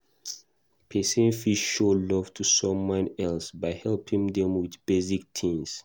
Person fit show love to someone else by helping them with basic things